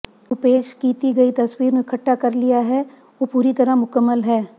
ਉਹ ਪੇਸ਼ ਕੀਤੀ ਗਈ ਤਸਵੀਰ ਨੂੰ ਇਕੱਠਾ ਕਰ ਲਿਆ ਹੈ ਉਹ ਪੂਰੀ ਤਰ੍ਹਾਂ ਮੁਕੰਮਲ ਹੈ